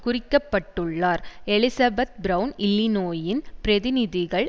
குறிக்கப்பட்டுள்ளார் Elizabeth Brown இல்லிநோயின் பிரதிநிதிகள்